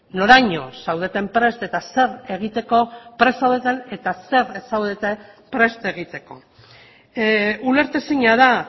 noraino zaudeten prest eta zer egiteko prest zaudeten eta zer ez zaudeten prest egiteko ulertezina da